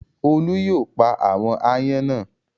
Olú yóò pa àwọn aáyán náà!